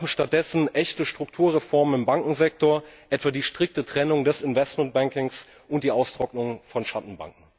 Wir brauchen stattdessen echte Strukturreformen im Bankensektor, etwa die strikte Trennung des Investmentbankings und die Austrocknung von Schattenbanken.